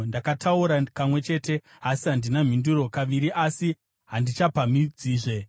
Ndakataura kamwe chete, asi handina mhinduro, kaviri, asi handichapamhidzazve.”